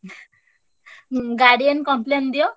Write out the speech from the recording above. ହୁଁ guardian complain ଦିଅ।